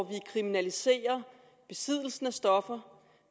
vi kriminaliserer besiddelsen af stoffer